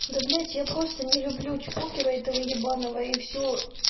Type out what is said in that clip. да блять я просто не люблю чпокера этого ебаного и все